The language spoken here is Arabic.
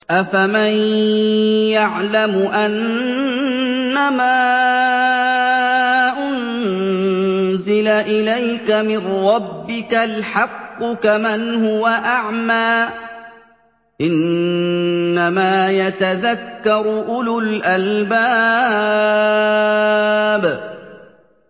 ۞ أَفَمَن يَعْلَمُ أَنَّمَا أُنزِلَ إِلَيْكَ مِن رَّبِّكَ الْحَقُّ كَمَنْ هُوَ أَعْمَىٰ ۚ إِنَّمَا يَتَذَكَّرُ أُولُو الْأَلْبَابِ